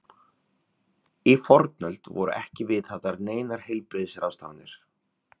Í fornöld voru ekki viðhafðar neinar heilbrigðisráðstafanir.